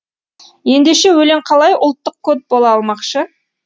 ендеше өлең қалай ұлттық код бола алмақшы